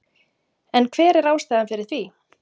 En hver er ástæðan fyrir því?